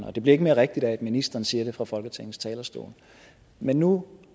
og det bliver ikke mere rigtigt af at ministeren siger det fra folketingets talerstol men nu